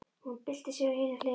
Hún byltir sér á hina hliðina.